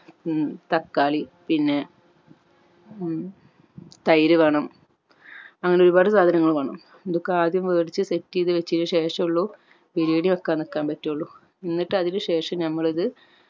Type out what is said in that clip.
ഹും തക്കാളി പിന്നെ ഹും തൈര് വേണം അങ്ങനെ ഒരുപാട് സാധനങ്ങൾ വാണം ഇതൊക്കെ ആദ്യം വേടിച്ച് set ചെയ്ത് വെച്ചെൻ ശേഷയുള്ളു ബിരിയാണി വെക്കാൻ നിക്കാൻ പറ്റുള്ളൂ എന്നിട്ട് അതിന് ശേഷം നമ്മൾ ഇത്